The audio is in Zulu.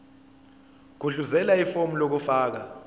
gudluzela ifomu lokufaka